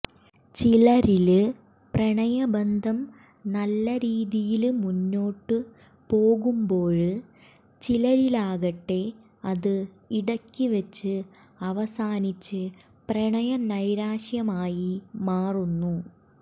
ചിലരില് പ്രണയ ബന്ധം നല്ല രീതിയില് മുന്നോട്ട് പോവുമ്പോള് ചിലരിലാകട്ടെ അത് ഇടക്ക് വെച്ച് അവസാനിച്ച് പ്രണയനൈരാശ്യമായി മാറുന്നു